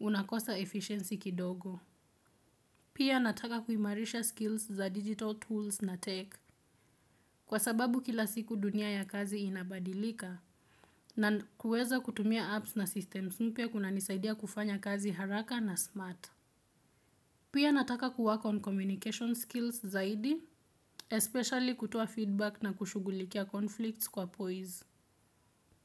unakosa efficiency kidogo. Pia nataka kuimarisha skills za digital tools na tech. Kwa sababu kila siku dunia ya kazi inabadilika na kuweza kutumia apps na systems mpya kunanisaidia kufanya kazi haraka na smart. Pia nataka kuwork on communication skills zaidi, especially kutoa feedback na kushugulikia conflicts kwa poise.